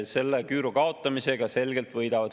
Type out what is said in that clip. Selle küüru kaotamisega selgelt võidavad.